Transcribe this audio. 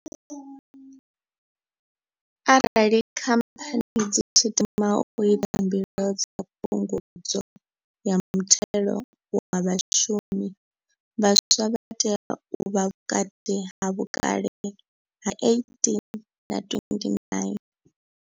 Arali Khamphani dzi tshi tama u ita mbilo dza Phungudzo ya Muthelo wa Vhashumi, vhaswa vha tea u vha vhukati ha vhukale ha 18 na 29.